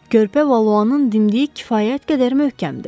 Körpə Valuanın dimdiyi kifayət qədər möhkəmdir.